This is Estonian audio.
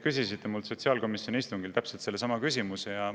Sotsiaalkomisjoni istungil küsisite te minu käest täpselt sama küsimuse.